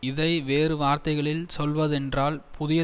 இதை வேறு வார்த்தைகளில் சொல்வதென்றால் புதிய